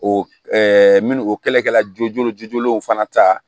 O minnu o kɛlɛ kɛla joonu jujolenw fana ta